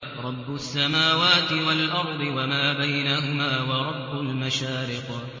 رَّبُّ السَّمَاوَاتِ وَالْأَرْضِ وَمَا بَيْنَهُمَا وَرَبُّ الْمَشَارِقِ